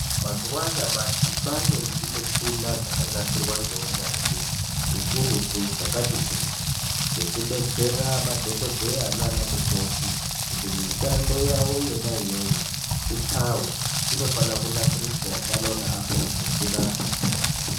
Mazuwa anyamashi kwaane zvimushina zvakanasirwa ngeunyanzvi ukurutu zvakati kuti zvekubetsera madhokodheya naana mukoti kuti mishando yavo yona iyoyo ipfave, zvinofana kunasiriswawo pano neapo zvimushina zvo.